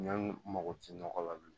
Ɲɔ mago ti nɔgɔ la bilen